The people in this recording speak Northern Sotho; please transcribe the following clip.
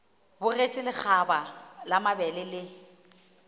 bogetše lekgaba la mabele le